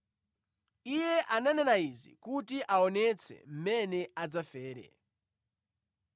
Iye ananena izi kuti aonetse mmene adzafere.